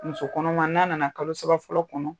Muso kɔnɔma n'a nana kalo saba fɔlɔ kɔnɔ